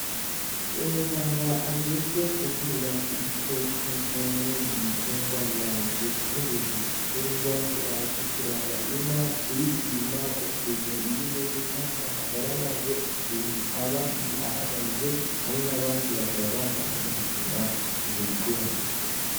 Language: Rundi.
Umuganga ajejwe kuvura ibikoko canke ibitungwa, yaje gutegera ibitungwa, yaje kuraba inka, kuyipima ukuntu iba imeze canke amagara yayo ukuntu aba ahagaze, hamwe n'abandi bakaba bazanye gupima ivyo bitungwa.